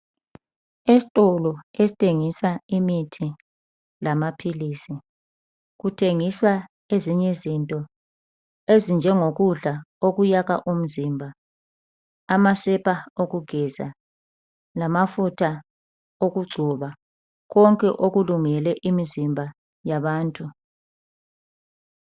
Esitolo esithengisa imithi lamaphilisi kuthengiswa ezinye izinto ezinjengokudla okwakha umzimba. Amasepa okugeza Lamafutha okugcoba. Konke okulungele imizimba yabantu.